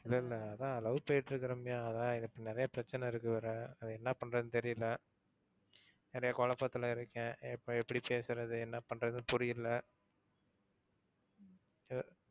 இல்லல்ல, அதான் love போய்ட்டு இருக்கு ரம்யா, அதான் இப்போ நிறைய பிரச்சனை இருக்கு வேற அதான் என்ன பண்றதுன்னு தெரியல, நிறைய குழப்பத்துல இருக்கேன். எப்போ எப்படி பேசுறது என்ன பண்றதுன்னு புரியல